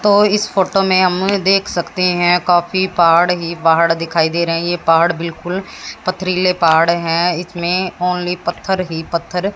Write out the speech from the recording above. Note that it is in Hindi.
तो इस फोटो में हम देख सकते हैं काफी पहाड़ ही पहाड़ दिखाई दे रहे हैं ये पहाड़ बिल्कुल पथरीले पहाड़ हैं इसमें ओन्ली पत्थर ही पत्थर--